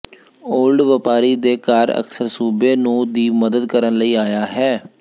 old ਵਪਾਰੀ ਦੇ ਘਰ ਅਕਸਰ ਸੂਬੇ ਨੂੰ ਦੀ ਮਦਦ ਕਰਨ ਲਈ ਆਇਆ ਹੈ